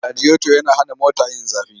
Radiyoto yana hana mota yin zafi.